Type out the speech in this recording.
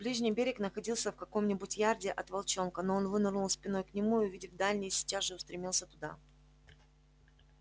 ближний берег находился в каком-нибудь ярде от волчонка но он вынырнул спиной к нему и увидев дальний сейчас же устремился туда